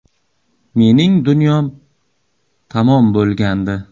Mening dunyom tamom bo‘lgandi.